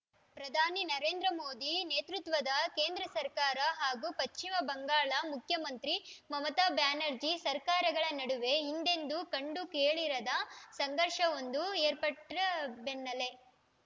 ಪ್ರಧಾನಿ ನರೇಂದ್ರ ಮೋದಿ ನೇತೃತ್ವದ ಕೇಂದ್ರ ಸರ್ಕಾರ ಹಾಗೂ ಪಶ್ಚಿಮ ಬಂಗಾಳ ಮುಖ್ಯಮಂತ್ರಿ ಮಮತಾ ಬ್ಯಾನರ್ಜಿ ಸರ್ಕಾರಗಳ ನಡುವೆ ಹಿಂದೆಂದೂ ಕಂಡು ಕೇಳರಿಯದ ಸಂಘರ್ಷವೊಂದು ಏರ್ಪಟ್ಟಬೆನ್ನಲ್ಲೇ